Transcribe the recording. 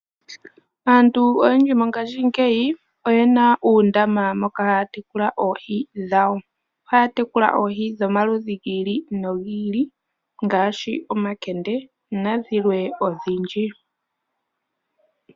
Aantu oyendji mongashingeyi oyena uundama moka haya tekula oohi dhawo. Ohaya tekula oohi dhomaludhi gi ili nogi ili, ngaashi omakende nadhilwe odhindji.